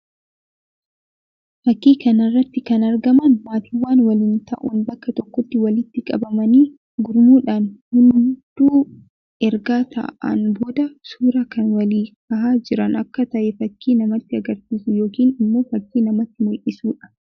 Fakkii kana irratti kan argaman maatiiwwan waliin ta'uun bakka tokkotti walitti qabamanii gurmuudhaan hundu erga taa'een booda suuraa kan walii kahaa jiran akka tahe fakkii namatti agarsiisu yookiin immoo fakkii namatti mullisuu dha.